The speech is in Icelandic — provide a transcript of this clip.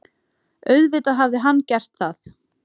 Auðvitað hafði hann gert það.